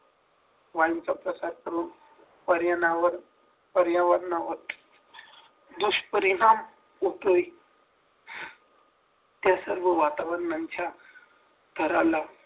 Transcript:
वायु चा प्रसार होऊन पर्यावर पर्यावरणावर दुष्परिणाम होतोय त्या सर्व वातावरणाच्या थराला